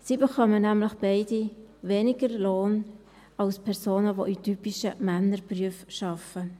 Sie erhalten nämlich beide weniger Lohn als Personen, die in typischen Männerberufen arbeiten.